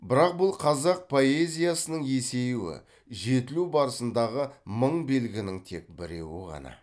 бірақ бұл қазақ поэзиясының есеюі жетілу барысындағы мың белгінің тек біреуі ғана